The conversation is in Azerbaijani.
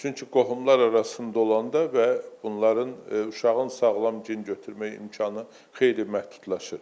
Çünki qohumlar arasında olanda və bunların uşağın sağlam gen götürmək imkanı xeyli məhdudlaşır.